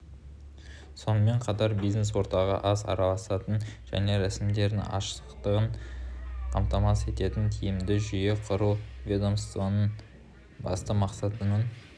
сонымен қатар бизнес-ортаға аз араласатын және рәсімдердің ашықтығын қамтамасыз ететін тиімді жүйе құру ведомствоның басты мақсатының